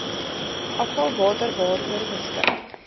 afvalwater waaroor beskik